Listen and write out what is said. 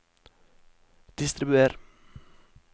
distribuer